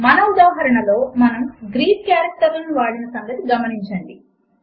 మన ఉదాహరణలో మనము గ్రీక్ కారెక్టర్లను వాడిన సంగతి గమనించండి